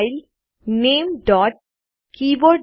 file લ્ટનામેગ્ટ